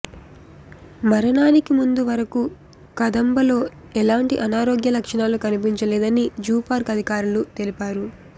మరణానికి ముందు వరకు కదంబలో ఎలాంటి అనారోగ్య లక్షణాలు కనిపించలేదని జూపార్క్ అధికారులు తెలిపారు